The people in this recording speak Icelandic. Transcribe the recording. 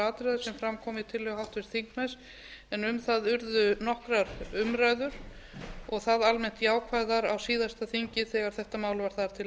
atriða sem fram koma í tillögu háttvirts þingmanns en um það urðu nokkrar umræður og þá almennt jákvæðar á síðasta þingi þegar þetta mál var þar til